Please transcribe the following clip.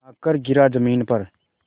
आकर गिरा ज़मीन पर